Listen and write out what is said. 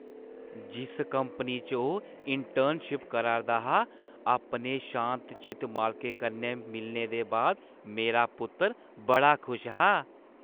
जिस कंपनी च ओह् इंटर्नशिप करा 'रदा हा, अपने शांत-चित मालकै कन्नै मिलने दे बाद मेरा पुत्तर बड़ा खुश हा।